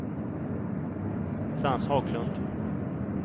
Frans Haglund